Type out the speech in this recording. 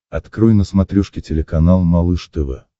открой на смотрешке телеканал малыш тв